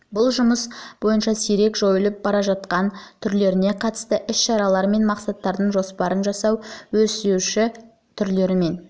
бұл жұмыс бойынша сирек және жойылып бара жатқан түрлеріне қатысты іс шаралар мен мақсаттардың жоспарын жасау өрістеуші түрлерімен